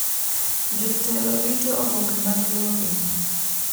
Jotelo rito oboke mag loge